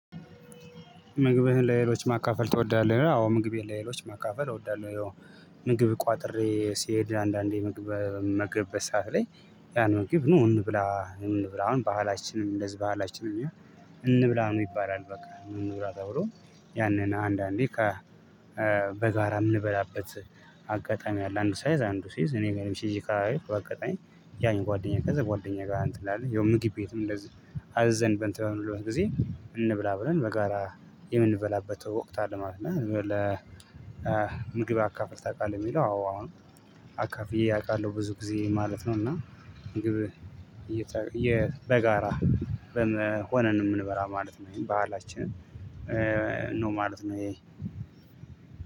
ምግብህን ለሌሎች ማካፈል ትወዳለህ? አዎ ምግቤን ለሌሎች ማካፈል እወዳለሁ። ያው ምግብ ቋጥሬ ሲሄድ አንዳንዴ ምግብ በምመገብበት ሰዓት ላይ ያን ምግብ ኑ እንብላ እንብላ አሁን ባህላችንም እንደዚህ ባላችንን እንብላ ኑ ይባላል በቃ። ኑ እንብላ ተብሎ ያንን አንዳንዴ በጋራም የምንበላበት አጋጣሚ አለ። አንዱ ሳይዝ አንዱ ሲይዝ እኔ ገንብ ሲ አጋጣሚ ያን ጓደኛ ከዛ ጓደኛ ጋር እንትን እላለሁ። ያው ምግብ ቤትም እንደዚህ አዝዘን እንትን በምንልበት ጊዜ እንብላ ብለን በመጋራ የምንበላበት ወቅት አለ ማለት ነው። ለምግብ አካፍለሁ ታውቃለህ? ለሚለው አዎ አሁን አካፍዬ አውቃለሁ ብዙ ጊዜ ማለት ነው። እና ምግብ በጋራ በመሆነን የምንበላው ማለት ነው። ይሄም በዓላችን ነው ማለት ነው።